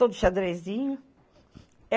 Todo xadrezinho.